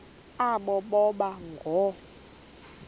aba boba ngoo